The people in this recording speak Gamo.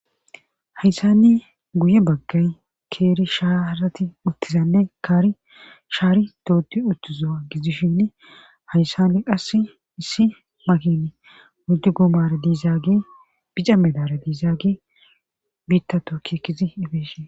Hayssanni guye baggay keeri shaarati uttizanne kaari shaari doodi uttiza gidishin hayssanni qass issi makin oydu goomara diizaagi bica medara diizaagi biitta tooki ekkidi ifeshin.